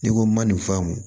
N'i ko n ma nin faamu